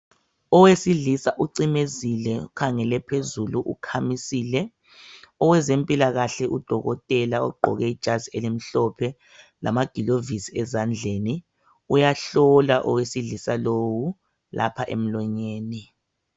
Owesilisa ucimezile ukhangele phezulu ukhamisile, owezempilakahle udokotela uqoke ijazi elimhlophe lama gilovisi ezandleni uyahlola owesilisa lowu lapha emlonyeni.